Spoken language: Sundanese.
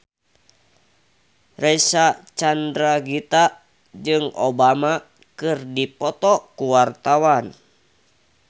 Reysa Chandragitta jeung Obama keur dipoto ku wartawan